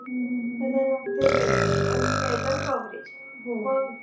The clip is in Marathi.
म्हणजे range आणि नाही तर coverage